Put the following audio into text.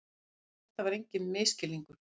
En þetta var enginn misskilningur.